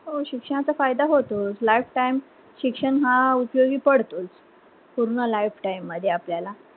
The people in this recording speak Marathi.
हो शिक्षणाचा फायदा होतोच lifetime शिक्षण हा उपयोगी पडतोच पूर्ण lifetime मध्ये आपल्याला.